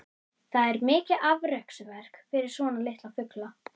Það er mikið afreksverk fyrir svona litla fugla.